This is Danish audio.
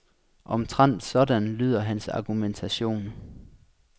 Omtrent sådan lyder hans argumentation.